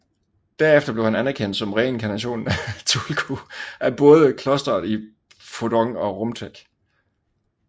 Derefter blev han anerkendt som reinkarnationen af Tulku af både klosteret i Phodong og Rumtek